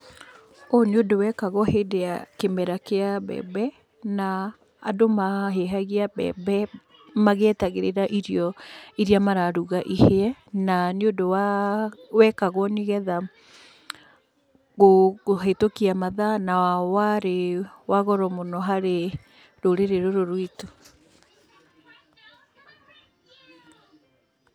Ũyũ nĩ undũ wekagwo hĩndĩ ya kĩmera kĩ mbembe na andũ mahĩhagia mbembe magĩetagĩrĩra irio iria mararuga ihĩe. Na nĩ ũndũ wekagwo nĩgetha kũhĩtũkia mathaa na warĩ wa goro mũno harĩ rũrĩrĩ rũrũ rwĩtũ.